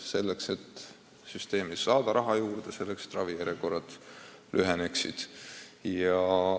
Me tahame süsteemi raha juurde saada, et ravijärjekorrad lüheneksid.